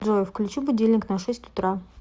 джой включи будильник на шесть утра